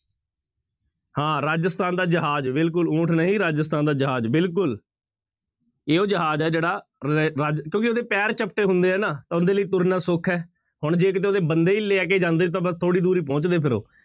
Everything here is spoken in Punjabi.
ਹਾਂ ਰਾਜਸਥਾਨ ਦਾ ਜਹਾਜ਼ ਬਿਲਕੁਲ ਊਠ ਨਹੀਂ ਰਾਜਸਥਾਨ ਦਾ ਜਹਾਜ਼ ਬਿਲਕੁਲ ਇਹ ਉਹ ਜਹਾਜ਼ ਹੈ ਜਿਹੜਾ ਰੈ ਰਾਜ ਕਿਉਂਕਿ ਉਹਦੇ ਪੇਰ ਚਪਟੇ ਹੁੰਦੇ ਹੈ ਨਾ, ਤਾਂ ਉਹਦੇ ਲਈ ਤੁਰਨਾ ਸੌਖਾ ਹੈ ਹੁਣ ਜੇ ਕਿਤੇ ਉਹਦੇ ਬੰਦੇ ਹੀ ਲੈ ਕੇ ਜਾਂਦੇ ਤਾਂ ਬਸ ਥੋੜ੍ਹੀ ਦੂਰ ਹੀ ਪਹੁੰਚਦੇ ਫਿਰ ਉਹ।